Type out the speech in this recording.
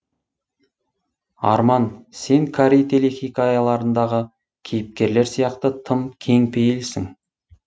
арман сен корей телехикаяларындағы кейіпкерлер сияқты тым кең пейілсің